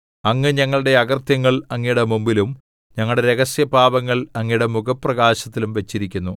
അങ്ങ് ഞങ്ങളുടെ അകൃത്യങ്ങൾ അങ്ങയുടെ മുമ്പിലും ഞങ്ങളുടെ രഹസ്യപാപങ്ങൾ അങ്ങയുടെ മുഖപ്രകാശത്തിലും വച്ചിരിക്കുന്നു